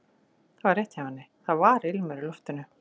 Þetta var rétt hjá henni, það var ilmur í loftinu.